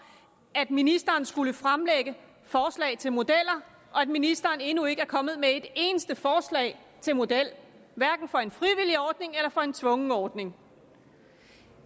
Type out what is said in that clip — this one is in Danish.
at ministeren skulle fremlægge forslag til modeller og at ministeren endnu ikke er kommet med ét eneste forslag til model hverken for en frivillig ordning eller for en tvungen ordning